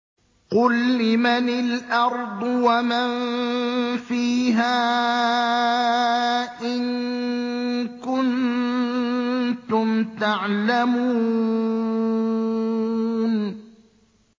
قُل لِّمَنِ الْأَرْضُ وَمَن فِيهَا إِن كُنتُمْ تَعْلَمُونَ